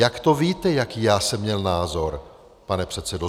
Jak to víte, jaký já jsem měl názor, pane předsedo?